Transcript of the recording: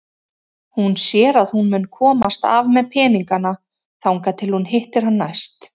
Hún sér að hún mun komast af með peningana þangað til hún hittir hann næst.